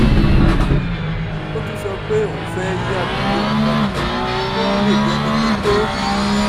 ó tún sọ pé òun fẹ́ yí àbùdá òun padà kóun lè di ẹni pípé